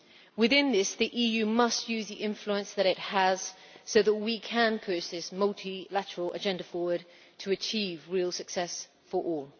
Within this, the EU must use the influence that it has so that we can push this multilateral agenda forward to achieve real success for all.